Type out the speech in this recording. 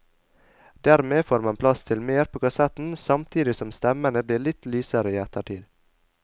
Dermed får man plass til mer på kassetten, samtidig som stemmene blir litt lysere i ettertid.